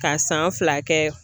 Ka san fila kɛ.